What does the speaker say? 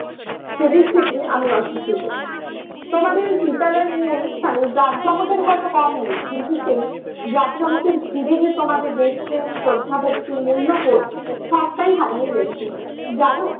সে দিক থেকে আমি অশিক্ষিত। তোমাদের বিদ্যালয়ের এই অনুষ্ঠানে জাঁকজমকের হয়তো কম নেই। কিন্তু সেই জাঁকজমকের ভিড়ে যে তোমাদের দেশপ্রেম, শ্রদ্ধা, ভক্তি, মূল্যবোধ সবটাই হারিয়ে গেছে, জানো?